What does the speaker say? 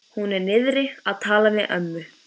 Hún er niðri að tala við ömmu.